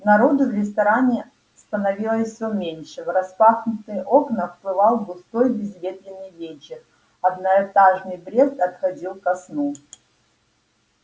народу в ресторане становилось все меньше в распахнутые окна вплывал густой безветренный вечер одноэтажный брест отходил ко сну